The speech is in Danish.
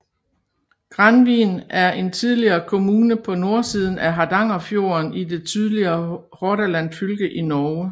Granvin er en tidligere kommune på nordsiden af Hardangerfjorden i det tidligere Hordaland fylke i Norge